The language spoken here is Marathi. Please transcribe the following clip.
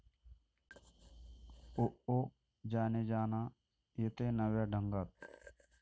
ओ ओ जाने जाना' येतंय नव्या ढंगात